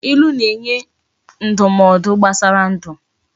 Ilu na enye ndumaodu gbasara ndu